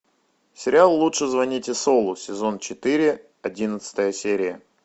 сериал лучше звоните солу сезон четыре одиннадцатая серия